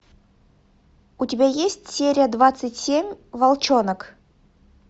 у тебя есть серия двадцать семь волчонок